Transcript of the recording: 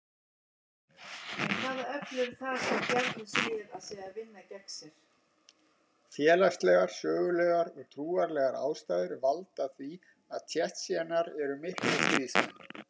Félagslegar, sögulegar og trúarlegar ástæður valda því að Tsjetsjenar eru miklir stríðsmenn.